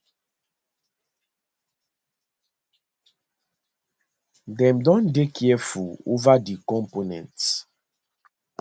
dem don dey careful ova di components